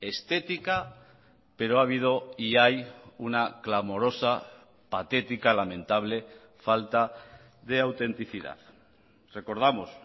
estética pero ha habido y hay una clamorosa patética lamentable falta de autenticidad recordamos